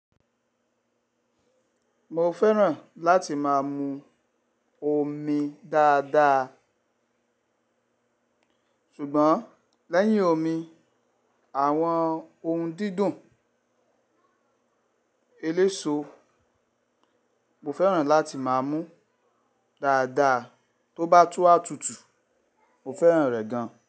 Mo fẹ́ràn láti máa mu omi dáadáa. Ṣùgbọ́n lẹ́yìn omi, àwọn ohun dídùn eléso mo fẹ́ràn láti máa mú dáadáa. Tó bá túwà tútù mo fẹ́ràn rẹ̀ gan.